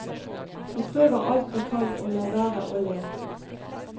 De prøver alt de kan å la være å le.